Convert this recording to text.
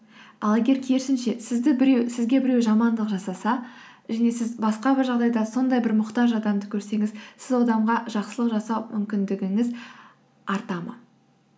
ал егер керісінше сізге біреу жамандық жасаса және сіз басқа бір жағдайда сондай бір мұқтаж адамды көрсеңіз сіз ол адамға жақсылық жасау мүмкіндігіңіз арта ма